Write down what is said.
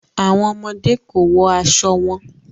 Awọn ọmọde ko wọ aṣọ wọn